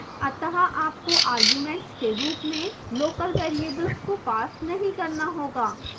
अतः आपको arguments के रूप में local variables को pass नहीं करना होगा